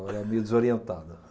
Ela é meio desorientada.